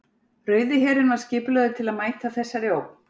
Rauði herinn var skipulagður til að mæta þessari ógn.